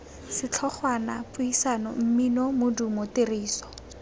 setlhogwana puisano mmino modumo tiriso